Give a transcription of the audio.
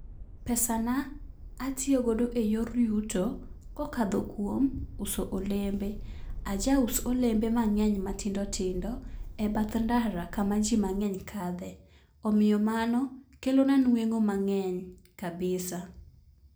Pesa na atiyo godo e yor yuto ko okalo kuom uso olembe. Ajaus olembe ma tindotindo e bath ndara kama ji mang'eny kale. Omiyo mano kelo na nweng'o mang'eny kabisa